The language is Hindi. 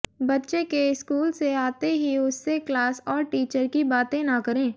बच्चे के स्कूल से आते ही उससे क्लास और टीचर की बातें न करें